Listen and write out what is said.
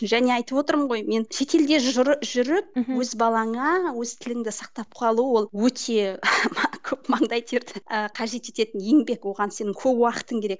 және айтып отырмын ғой мен шетелде жүріп өз балаңа өз тіліңді сақтап қалу ол өте көп маңдай терді ы қажет ететін еңбек оған сенің көп уақытың керек